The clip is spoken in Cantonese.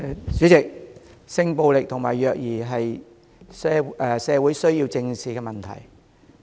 代理主席，性暴力和虐兒是社會需要正視的問題。